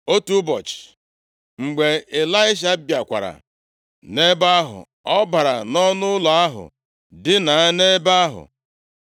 Otu ụbọchị, mgbe Ịlaisha bịakwara nʼebe ahụ, ọ bara nʼọnụụlọ ahụ, dinaa nʼebe ahụ.